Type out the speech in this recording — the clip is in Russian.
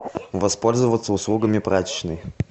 воспользоваться услугами прачечной